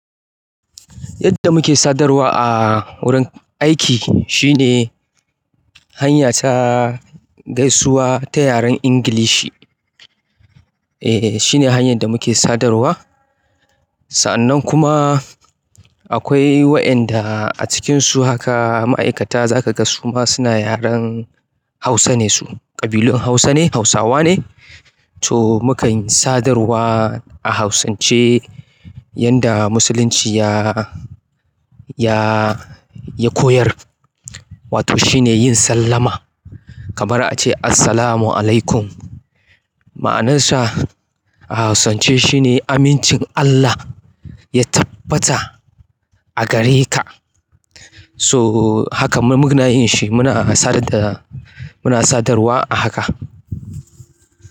Yadda muke sadarwa a wurin aiki shine hanya ta gaisuwa ta yaren Ingilishi. E, shine hanyar da muke sadarwa. Sa'annan kuma akwai wa'enda a cikinsu haka ma'aikata za ka ga suma suna yaren Hausa ne su. Ƙabilun Hausa ne, Hausawa ne. To, mukan sadarwa a hausance. Yanda musulunci ya, ya, ya koyar. Wato shine yin sallama. Kamar a ce Assalamualaikum ma'anansa a hausance shine: Amincin Allah ya tabbata a gareka. So haka mun, mun na yin shi. Muna sadar da, muna sadarwa a haka.